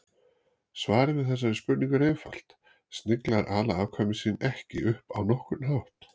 Svarið við þessari spurningu er einfalt: Sniglar ala afkvæmi sín ekki upp á nokkurn hátt.